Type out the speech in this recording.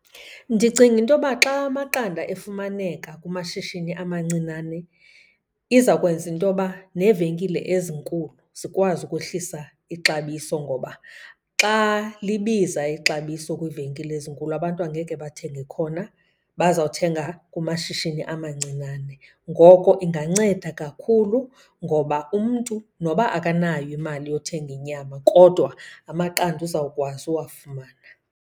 Ndicinga intoba xa amaqanda efumaneka kumashishini amancinane iza kwenza intoba neevenkile ezinkulu zikwazi ukwehlisa ixabiso. Ngoba xa libiza ixabiso kwiivenkile ezinkulu abantu angeke bathenge khona, baza kuthenga kumashishini amancinnane. Ngoko inganceda kakhulu ngoba umntu noba akanayo imali yothenga inyama, kodwa amaqanda uzawukwazi uwafumana.